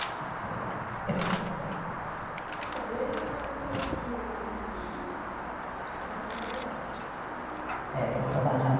Nossa senhora Então, e aí a senhora teve teve filhos enquanto trabalhava? É, eu trabalhava